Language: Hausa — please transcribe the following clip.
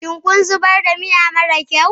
Shin kun zubar da miya mara kyau?